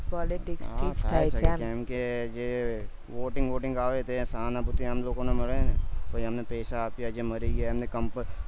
કેમ કે જે voting voting આવે તે સહાનુભુતિ એ લોકો ને મળે ને તો એમને પૈસા આપ્યા છે મરી ગયા એમને